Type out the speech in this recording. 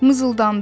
Mızıldandı.